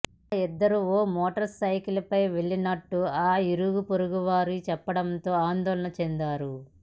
ఆ ఇద్దరూ ఓ మోటార్సైకిల్పై వెళ్లినట్టు ఆ ఇరుగుపొరుగువారు చెప్పడంతో ఆందోళన చెందారు